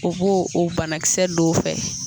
O b'o o banakisɛ don o fɛ